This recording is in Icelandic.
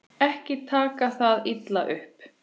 Ekki taka það illa upp.